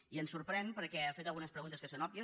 i ens sorprèn perquè ha fet algunes pregun·tes que són òbvies